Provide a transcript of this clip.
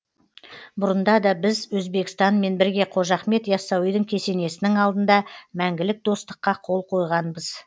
бұрында да біз өзбекстанмен бірге қожа ахмет яссауидың кесенесінің алдында мәңгілік достыққа қол қойғанбыз